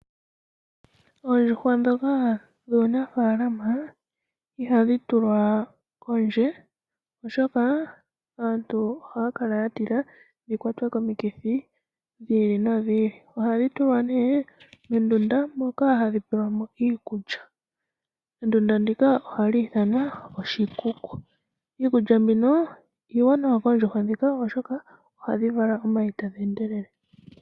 Oondjuhwa ndhoka dhuunafaalama ihadhi tulwa kondje oshoka aantu ohaya kala yatila dhikwatwe komikithi dhi ili nodhi ili . Ohadhi tulwa nee mondunda moka hadhi pelwamo iikulya . Ondunda ndjika ohayi ithanwa oshikuku . Iikulya mbino iiwanawa koondjuhwa ndhika oshoka ohadhi vala omayi tadhi endelele.